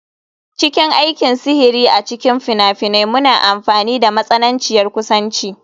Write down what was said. A cikin aikin sihiri a cikin fina-finai muna amfani da matsananciyar kusanci.